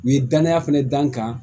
U ye danaya fɛnɛ da n kan